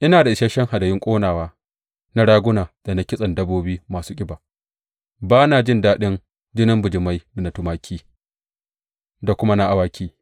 Ina da isashen hadayun ƙonawa, na raguna da na kitsen dabbobi masu ƙiba; ba na jin daɗin jinin bijimai da na tumaki da kuma na awaki.